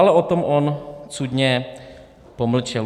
Ale o tom on cudně pomlčel.